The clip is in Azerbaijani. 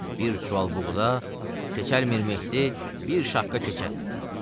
bir çuval buğda, Keçəlmirməhdi bir şapqa keçədir.